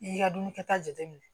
I ka dumuni kɛta jateminɛ